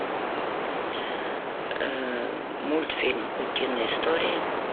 мультфильм утиные истории